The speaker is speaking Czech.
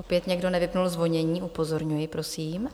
Opět někdo nevypnul zvonění, upozorňuji, prosím.